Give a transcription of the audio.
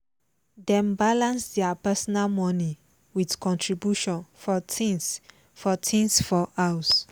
dem balance their personal money with contribution for things for things for house